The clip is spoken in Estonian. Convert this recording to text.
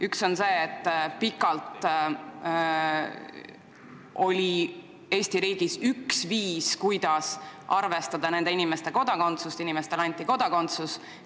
Üks on see, et pikalt on olnud Eesti riigis üks viis, kuidas arvestada nende inimeste kodakondsust, kellele kunagi anti kodakondsus.